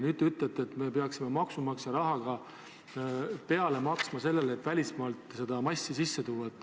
Nüüd te ütlete, et me peaksime maksumaksja raha peale maksma sellele, et välismaalt seda massi sisse tuua.